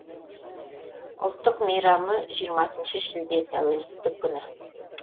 ұлттық мейрамы жиырмасыншы шілде тәуелсіздік күні